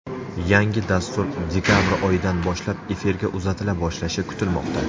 Yangi dastur dekabr oyidan boshlab efirga uzatila boshlashi kutilmoqda.